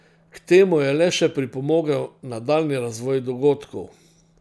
K temu je le še pripomogel nadaljnji razvoj dogodkov.